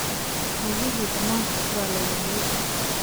Riyihii dhamaantood waa la waayay.